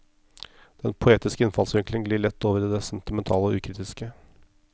Den poetiske innfallsvinkelen glir lett over i det sentimentale og ukritiske.